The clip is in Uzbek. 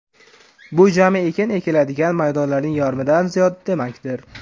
Bu jami ekin ekiladigan maydonlarning yarmidan ziyodi demakdir.